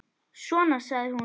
Svona, sagði hún.